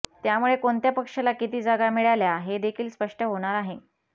त्यामुळे कोणत्या पक्षाला किती जागा मिळाल्या हे देखील स्पष्ट होणार आहे